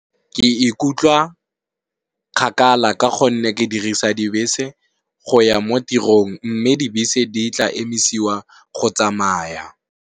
Ke ikutlwa kgakala ka gonne, ke dirisa dibese go ya ko tirong mme dibese di tla emisiwa go tsamaya.